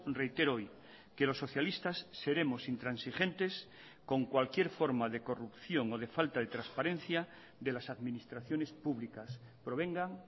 reitero hoy que los socialistas seremos intransigentes con cualquier forma de corrupción o de falta de transparencia de las administraciones públicas provengan